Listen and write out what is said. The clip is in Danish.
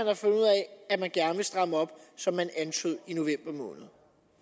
at man gerne vil stramme op som man antydede i november måned